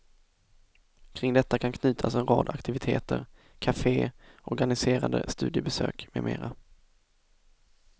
Kring detta kan knytas en rad aktiviteter, kafé, organiserade studiebesök med mera.